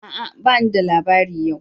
A'a! bani da labari yau